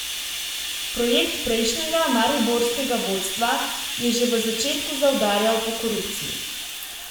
Projekt prejšnjega mariborskega vodstva je že v začetku zaudarjal po korupciji.